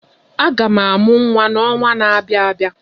Aga m amụ nwa n'ọnwa na-abịa abịa.